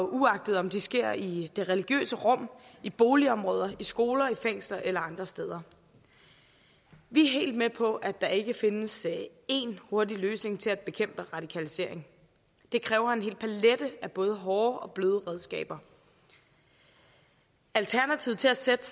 uagtet om det sker i det religiøse rum i boligområder i skoler fængsler eller andre steder vi er helt med på at der ikke findes en hurtig løsning til at bekæmpe radikalisering det kræver en hel palet af både hårde og bløde redskaber alternativet til at sætte